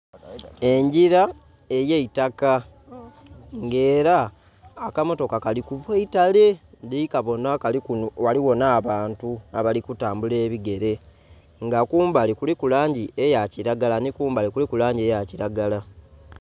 Engila eya eitaka nga era akamotoka kalikuva eitale ndhi kabonha ghaligho nha bantu abali ku tambula ebigere nga kumbali kuliku langi eya kilagala nhi kumbali kuliku langi eya kilagala.